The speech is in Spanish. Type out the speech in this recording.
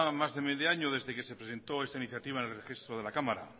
más de medio año desde que se presentó esta iniciativa en el registro de la cámara